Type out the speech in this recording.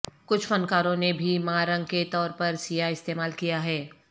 کچھ فنکاروں نے بھی ماں رنگ کے طور پر سیاہ استعمال کیا ہے